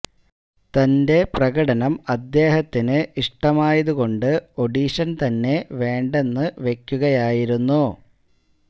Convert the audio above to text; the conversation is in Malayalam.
തന്റെ പ്രകടനം അദ്ദേഹത്തിനു ഇഷ്ടമായതു കൊണ്ട് ഓഡിഷൻ തന്നെ വേണ്ടെന്ന് വയ്ക്കുകയായിരുന്നു